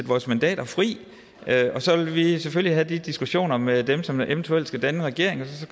vores mandater fri og så vil vi selvfølgelig have de diskussioner med dem som eventuelt skal danne regering og